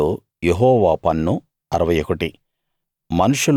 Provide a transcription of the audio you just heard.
వాటిలో యెహోవా పన్ను 61